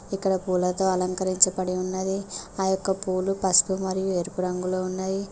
ఇక్కడ పూలతో అలంకరించపడి ఉన్నది ఆ యొక్క పూలు పసుపు మరియు ఎరుపు రంగులొ ఉన్నయి.